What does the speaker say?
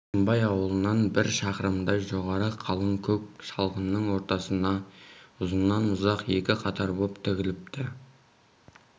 алшынбай аулынан бір шақырымдай жоғары қалың көк шалғынның ортасына ұзыннан-ұзақ екі қатар боп тігіліпті